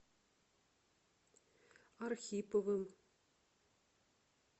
архиповым